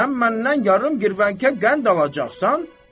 Sən məndən yarım girvənkə qənd alacaqsan?